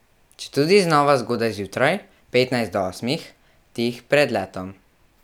Četudi znova zgodaj zjutraj, petnajst do osmih, tik pred letom.